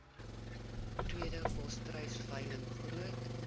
tweede volstruisveiling groot